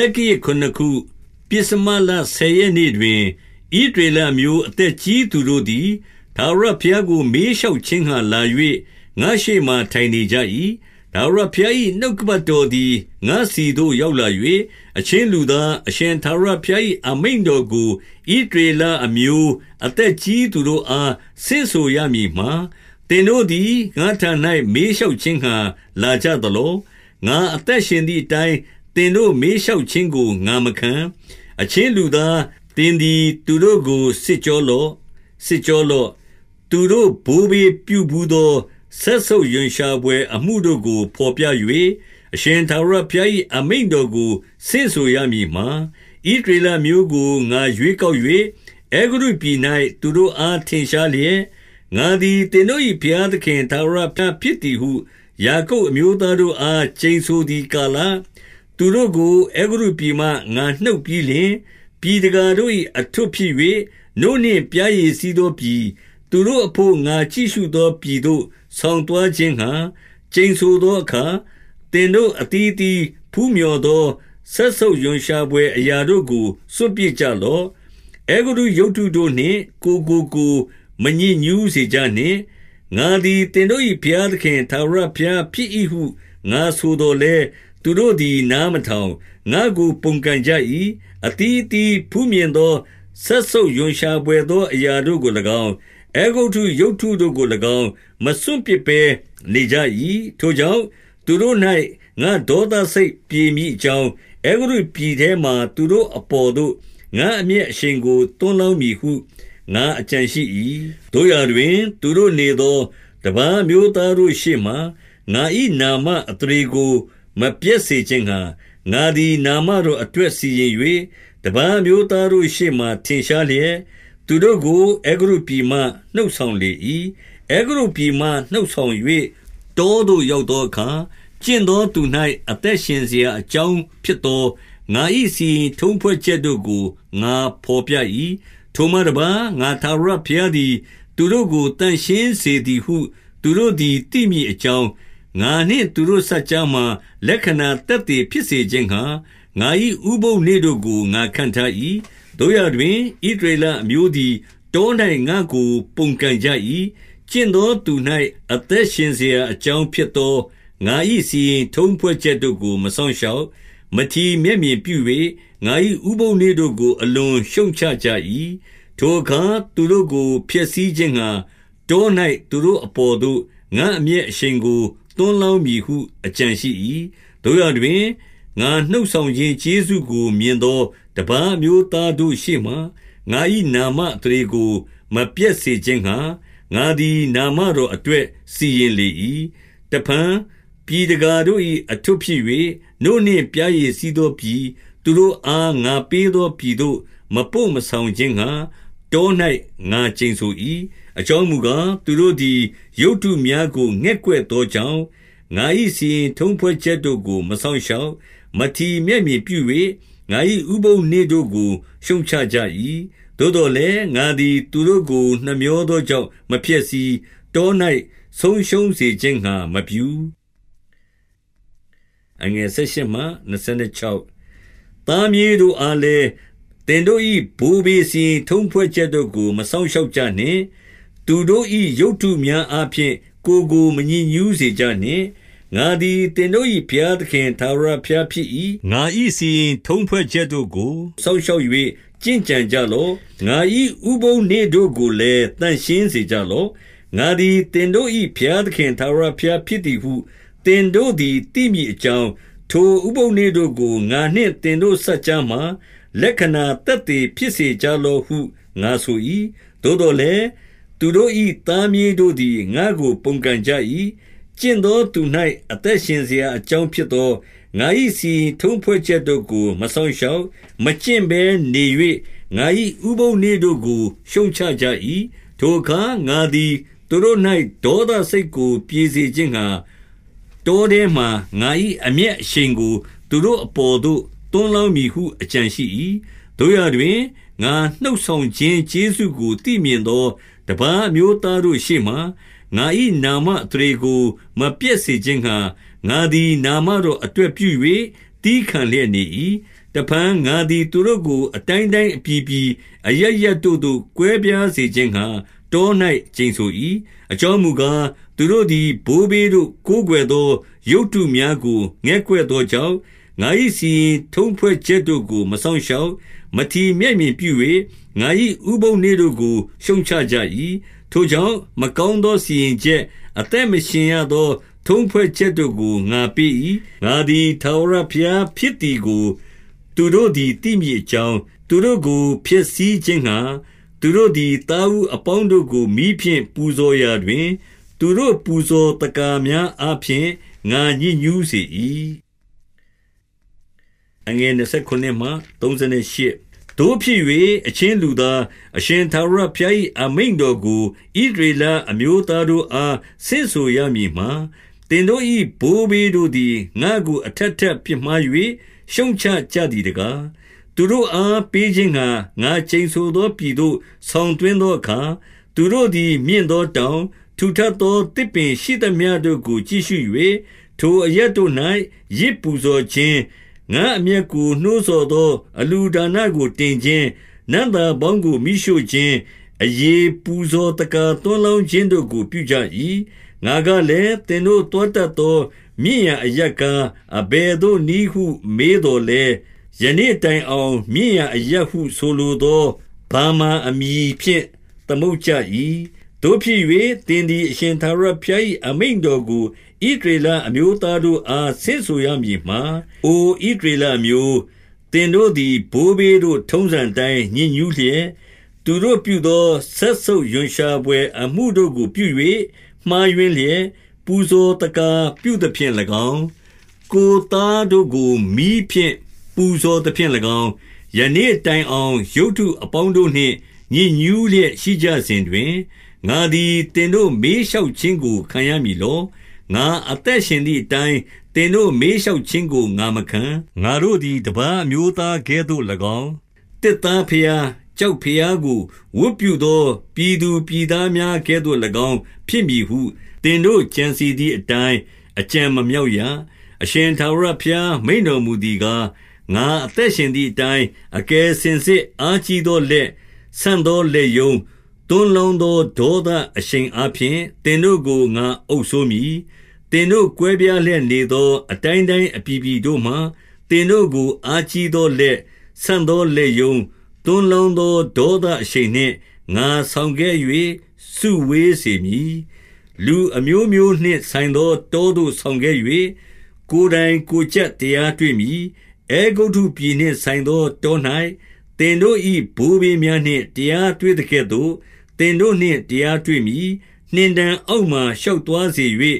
က္ကရာဇ် ခုနစ်ခု၊ ပဥ္စမလဆယ်ရက်နေ့တွင်၊ ဣသရေလအမျိုး အသက်ကြီးသူတို့သည် ထာဝရဘုရား ကို မေးလျှောက်ခြင်းငှါ လာ၍ငါ့ရှေ့မှာ ထိုင်နေကြ၏။ 2 ထာဝရဘုရား၏ နှုတ်ကပတ်တော်သည် ငါ့ဆီသို့ ရောက်လာ၍၊ 3 အချင်းလူသား၊ အရှင်ထာဝရဘုရား၏ အမိန့် တော်ကို ဣသရေလအမျိုး အသက်ကြီးသူတို့အား ဆင့်ဆို ရမည်မှာ၊ သင်တို့သည် ငါ့ထံ၌ မေးလျှောက်ခြင်းငှါ လာကြသလော။ ငါအသက်ရှင်သည်အတိုင်း သင်တို့ မေးလျှောက်ခြင်းကို ငါမခံ။ 4 အချင်းလူသား၊ သင်သည်သူတို့ကို စစ်ကြော လော့။ စစ်ကြောလော့။ သူတို့ဘိုးဘေးပြုဘူးသော စက်ဆုပ်ရွံရှာဘွယ်အမှုကို ဘော်ပြ၍၊ 5 အရှင်ထာဝရဘုရား၏ အမိန့်တော်ကိုဆင့်ဆို ရမည်မှာ၊ ဣသရေလအမျိုး ငါရွေးကောက်၍၊ အဲဂုတ္တု ပြည်၌ သူတို့အား ထင်ရှားလျက်၊ ငါသည်သင်တို့၏ ဘုရား သခင် ထာဝရဘုရားဖြစ်သည်ဟု၊ ယာကုပ်အမျိုး သားတို့ အား ကျိန်ဆိုသည်ကာလ၊ 6 သူတို့ကို အဲဂုတ္တုပြည်မှ ငါနှုတ်ပြီးလျှင်၊ ပြည် တကာတို့၏ အထွဋ်ဖြစ်၍ နို့နှင့်ပျားရည် စီးသောပြည်၊ သူတို့အဘို့ငှါ ကြည့်ရှုသော ပြည်သို့ ဆောင်သွားခြင်းငှါ ကျိန်ဆိုသောအခါ၊ 7 သင်တို့အသီးအသီး ဖူးမျှော်သော စက်ဆုပ်ရွံရှာ ဘွယ်အရာတို့ကို စွန့်ပစ်ကြလော့။ အဲဂုတ္တုရုပ်တုတို့နှင့် ကိုယ်ကိုကိုယ် မညစ်ညူးစေကြနှင့်။ ငါသည်သင်တို့၏ ဘုရားသခင် ထာဝရဘုရားဖြစ်၏ဟု ငါဆိုသော်လည်း၊ 8 သူတို့သည် နားမထောင်၊ ငါ့ကိုပုန်ကန်ကြ၏။ အသီး သီးဖူးမြင်သော စက်ဆုပ်ရွံရှာဘွယ် အရာတို့ကို၎င်း၊ အဲဂုတ္တုရုပ်တုကို၎င်း၊ မစွန့်ပစ်ဘဲနေ ကြ၏။ ထိုကြောင့်၊ သူတို့၌ ငါ့ဒေါသစိတ်ပြေမည်အကြောင်း၊ အဲဂုတ္တုပြည် ထဲမှာ သူတို့အပေါ်သို့ ငါ့အမျက်ရှိန်ကို သွန်းလောင်းမည် ဟု ငါအကြံရှိ၏။ 9 သို့ရာတွင်၊ သူတို့နေသော တပါးအမျိုးသားတို့ ရှေ့မှာ၊ ငါ၏နာမအသရေကို မပျက်စေခြင်းငှါ၊ ငါသည် နာမတော်အတွက်စီရင်၍၊ တပါးအမျိုးသားတို့ရှေ့မှာ ထင်ရှားလျက်၊ သူတို့ကို အဲဂုတ္တုပြည်မှ နှုတ်ဆောင်လေ ၏။ 10 အဲဂုတ္တုပြည်မှ နှုတ်ဆောင်၍ တောသို့ ရောက် သောအခါ၊ 11 ကျင့်သောသူ၌ အသက်ရှင်စရာအကြောင်း ဖြစ်သော ငါ၏စီရင်ထုံးဖွဲ့ချက်တို့ကို ငါဘော်ပြ၏။ 12 ထိုမှတပါး၊ ငါထာဝရဘုရားသည် သူတို့ကို သန့်ရှင်းစေသည်ဟု သူတို့သည် သိမည်အကြောင်း၊ ငါနှင့် သူတို့စပ်ကြားမှာ လက္ခဏာသက်သေဖြစ်စေခြင်းငှါ၊ ငါ၏ ဥပုသ်နေ့တို့ကို ငါခန့်ထား၏။ 13 သို့ရာတွင်၊ ဣသရေလအမျိုးသည် တော၌ငါ့ကို ပုန်ကန်ကြ၏။ ကျင့်သောသူ၌ အသက်ရှင်စရာ အကြောင်းဖြစ်သော ငါ၏စီရင်ထုံးဖွဲ့ချက်ကို မစောင့် ရှောက်၊ မထီမဲ့မြင်ပြု၍ ငါ၏ဥပုသ်နေ့တို့ကို အလွန်ရှုတ်ချ ကြ၏။ ထိုအခါ သူတို့ဖျက်ဆီးခြင်းငှါ၊ တော၌သူတို့ အပေါ်သို့ ငါ့အမျက်အရှိန်ကို သွန်းလောင်းမည်ဟု အကြံ ရှိ၏။ 14 သို့ရာတွင်၊ ငါနှုတ်ဆောင်ခြင်းကျေးဇူးကို မြင် သော တပါးအမျိုးသားတို့ရှေ့မှာ ငါ၏နာမအသရေကို မပျက်စေခြင်းငှါ၊ ငါသည် နာမတော်အတွက် စီရင် လေ၏။ 15 တဖန်၊ ပြည်တကာတို့၏ အထွဋ်ဖြစ်၍ နို့နှင့် ပျားရည်စီးသော ပြည်၊ သူတို့အားငါပေးသောပြည်သို့ မပို့ဆောင်ခြင်းငှါ၊ တော၌ ငါကျိန်ဆို၏။ 16 အကြောင်းမူကား၊ သူတို့သည် ရုပ်တုများကို ငဲ့ကွက်သောကြောင့်၊ ငါ၏စီရင်ထုံးဖွဲ့ချက်တို့ကို မစောင့် ရှောက်၊ မထီမဲ့မြင်ပြု၍ ငါ၏ဥပုသ်နေ့တို့ကို ရှုတ်ချကြ၏။ 17 သို့သော်လည်း၊ ငါသည်သူတို့ကို နှမြောသော ကြောင့် မဖျက်ဆီး၊ တော၌ဆုံးရှုံးစေခြင်းငှါ မပြု။ 18 သားမြေးတို့အားလည်း၊ သင်တို့၏ ဘိုးဘေး စီရင်ထုံးဖွဲ့ချက်တို့ကို မစောင့်ရှောက်ကြနှင့်။ သူတို့၏ ရုပ်တုများအားဖြင့် ကိုယ်ကိုမညစ်ညူးစေကြနှင့်။ 19 ငါသည် သင်တို့၏ဘုရားသခင် ထာဝရဘုရား ဖြစ်၏။ ငါ၏စီရင်ထုံးဖွဲ့ချက်တို့ကို စောင့်ရှောက်၍ ကျင့်ကြံကြလော့။ 20 ငါ၏ဥပုသ်နေ့တို့ကိုလည်း သန့်ရှင်းစေကြလော့။ ငါသည် သင်တို့၏ဘုရားသခင် ထာဝရဘုရားဖြစ်သည် ဟု၊ သင်တို့သည်သိမည်အကြောင်း၊ ထိုဥပုသ်နေ့တို့ကို ငါနှင့်သင်တို့စပ်ကြားမှာ လက္ခဏာသက်သေဖြစ်စေကြ လော့ဟု ငါဆို၏။ 21 သို့သော်လည်း၊ သူတို့၏သားမြေးတို့သည် ငါ့ကို ပုန်ကန်ကြ၏။ ကျင့်သောသူ၌ အသက်ရှင်စရာ အကြောင်းဖြစ်သော၊ ငါ၏စီရင်ထုံးဖွဲ့ချက်တို့ကို မစောင့် ရှောက်၊ မကျင့်ကြံဘဲနေ၍၊ ငါ၏ဥပုသ်နေ့တို့ကို ရှုတ်ချ ကြ၏။ ထိုအခါ ငါသည်သူတို့၌ ဒေါသစိတ်ကို ပြေစေ ခြင်းငှါ၊ တောထဲမှာငါ၏ အမျက်အရှိန်ကို သူတို့အပေါ်သို့ သွန်းလောင်းမည်ဟု အကြံရှိ၏။ 22 သို့ရာတွင်၊ ငါနှုတ်ဆောင်ခြင်း ကျေးဇူးကို သိမြင်သော တပါးအမျိုးသားတို့ရှေ့မှာ ငါ၏နာမ အသရေကို မပျက်စေခြင်းငှါ၊ ငါသည်နာမတော်အတွက် သည်းခံလျက်နေ၏။ 23 တဖန် ငါသည် သူတို့ကို အတိုင်းတိုင်း အပြည် ပြည် အရပ်ရပ်တို့သို့ ကွဲပြားစေခြင်းငှါ တော၌ ကျိန်ဆို၏။ 24 အကြောင်းမူကား၊ သူတို့သည် ဘိုးဘေးတို့ ကိုးကွယ်သော ရုပ်တုများကို ငဲ့ကွက်သောကြောင့်၊ ငါ၏ စီရင်ထုံးဖွဲ့ချက်တို့ကို မစောင့်ရှောက်၊ မထီမဲ့မြင်ပြု၍ ငါ၏ ဥပုသ်နေ့တို့ကို ရှုတ်ချကြ၏။ 25 ထိုကြောင့်၊ မကောင်းသောစီရင်ချက်၊ အသက် မရှင်ရသော ထုံးဖွဲ့ချက်တို့ကို ငါပေး၏။ 26 ငါသည် ထာဝရဘုရားဖြစ်သည်ကို သူတို့သည် သိမည်အကြောင်း၊ သူတို့ကိုဖျက်ဆီးခြင်းငှါ၊ သူတို့သည် သားဦးအပေါင်းတို့ကို မီးဖြင့် ပူဇော်ရာတွင်၊ သူတို့ပူဇော် သက္ကာများအားဖြင့် ငါညစ်ညူးစေ၏။ 27 သို့ဖြစ်၍၊ အချင်းလူသား၊ အရှင်ထာဝရဘုရား ၏ အမိန့်တော်ကို ဣသရေလအမျိုးသားတို့အား ဆင့်ဆို ရမည်မှာ၊ သင်တို့၏ဘိုးဘေးတို့သည် ငါ့ကိုအထပ်ထပ် ပြစ်မှား၍ ရှုတ်ချကြသည်တကား။ 28 သူတို့အား ပေးခြင်းငှါ ငါကျိန်ဆိုသောပြည်သို့ ဆောင်သွင်းသောအခါ၊ သူတို့သည်မြင့်သောတောင်၊ ထူထပ်သော သစ်ပင်ရှိသမျှတို့ ကိုကြည့်ရှု၍၊ ထိုအရပ်တို့ ၌ ယဇ်ပူဇော်ခြင်း၊ ငါ့အမျက်ကို နှိုးဆော်သော အလှူဒါန ကိုတင်ခြင်း၊ နံ့သာပေါင်းကို မီးရှို့ခြင်း၊ အရည်ပူဇော် သက္ကာသွန်းလောင်းခြင်းတို့ကို ပြုကြ၏။ 29 ငါကလည်း၊ သင်တို့သွားတတ်သော မြင့်ရာ အရပ်ကား၊ အဘယ်နည်းဟု မေးသော်လည်း၊ ယနေ့ တိုင်အောင် မြင့်ရာအရပ်ဟု ဆိုလိုသော ဗာမာအမည် ဖြင့် သမုတ်ကြ၏။ 30 သို့ဖြစ်၍၊ သင်သည် အရှင်ထာဝရဘုရား၏ အမိန့်တော်ကို ဣသရေလအမျိုးသားတို့အား ဆင့်ဆို ရမည်မှာ၊ အိုဣသရေလအမျိုး၊ သင်တို့သည် ဘိုးဘေးတို့ ထုံးစံအတိုင်း ညစ်ညူးလျက်၊ သူတို့ပြုသောစက်ဆုပ်ရွံ ရှာဘွယ် အမှုတို့ကိုပြု၍ မှားယွင်းလျက်၊ 31 ပူဇော်သက္ကာပြုသဖြင့်၎င်း၊ ကိုယ်သားတို့ကို မီးဖြင့် ပူဇော်သဖြင့်၎င်း၊ ယနေ့တိုင်အောင် ရုပ်တု အပေါင်းတို့နှင့် ညစ်ညူးလျက်ရှိကြစဉ်တွင်၊ ငါသည် သင်တို့ မေးလျှောက်ခြင်းကို ခံရမည်လော။ ငါအသက် ရှင်သည်အတိုင်း သင်တို့မေးလျှောက်ခြင်းကို ငါမခံ။ 32 ငါတို့သည် တပါးအမျိုးသားကဲ့သို့၎င်း၊ သစ်သား ဘုရား၊ ကျောက်ဘုရားကိုဝတ်ပြုသော ပြည်သူပြည်သား များကဲ့သို့၎င်း ဖြစ်မည်ဟု၊ သင်တို့ ကြံစည်သည်အတိုင်း အကြံမမြောက်ရ။ 33 အရှင်ထာဝရဘုရားမိန့်တော်မူသည်ကား၊ ငါ အသက်ရှင်သည်အတိုင်း အကယ်စင်စစ် အားကြီးသော လက်၊ ဆန့်သောလက်ရုံး၊ သွန်းလောင်းသောဒေါသအရှိန် အားဖြင့် သင်တို့ကို ငါအုပ်စိုးမည်။ 34 သင်တို့ကွဲပြားလျက်နေသော အတိုင်းတိုင်း အပြည်ပြည်တို့မှ၊ သင်တို့ အားကြီးသောလက်၊ ဆန့်သော လက်ရုံး၊ သွန်းလောင်းသောဒေါသအရှိန်နှင့် ငါဆောင် ခဲ့၍ စုဝေစေမည်။ 35 လူအမျိုးမျိုးနှင့် ဆိုင်သောတောသို့ ဆောင် ခဲ့၍၊ ကိုယ်တိုင်ကိုယ်ကြပ်တရားတွေ့မည်။ 36 အဲဂုတ္တုပြည်နှင့်ဆိုင်သော တော၌သင်တို့၏ ဘိုးဘေးများ တရားတွေ့သကဲ့သို့ သင်တို့နှင့် တရား တွေ့မည်။ 37 နှင်တံအောက်မှာ ရှောက်သွားစေ၍၊